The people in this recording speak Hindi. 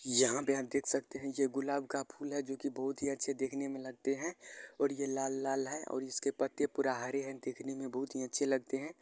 यहाँ पर आप देख सकते हैं। ये गुलाब का फूल है जो की बहोत ही अच्छे देखने में लगते हैं और ये लाल लाल है और इसके पत्ते पूरा हरे हैं। देखने में बहोत ही अच्छे लगते हैं।